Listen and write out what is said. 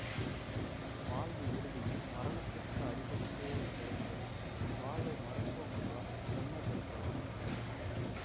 வாழ்வு இறுதியில் மரணத்திற்கு அடிபணிந்தேயாக வேண்டும் வாழ்வை மருத்துவம் மூலம் செம்மைப்படுத்தலாம்